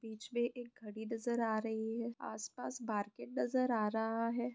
बीच में एक घड़ी नजर आ रही है आस-पास मार्केट नजर आ रहा है।